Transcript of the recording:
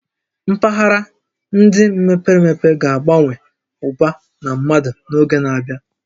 Mpaghara ndị mepere emepe ga-abawanye ụba na mmadụ n'oge na-abịa